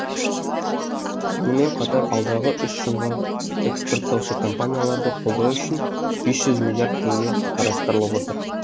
сонымен қатар алдағы үш жылға эскпорттаушы компанияларды қолдау үшін бес жүз миллиард теңге қарастырылып отыр